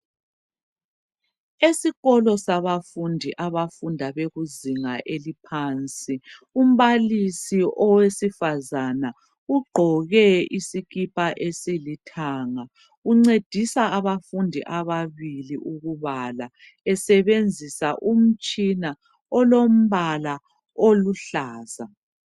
Esikolo sabafundi abafunda bekuzinga eliphansi. Umbalisi owesifazana ugqoke isikipa esilithanga uncedisa abafundi ababili ukubala esebenzisa umtshina olombala oluhlaza.